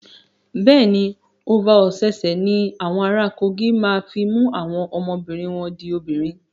Bẹ́ẹ̀ ni, Ova Osese ní awọn ara Kogi máa fi mú àwọn ọmọbìnri wọn di obìnrin.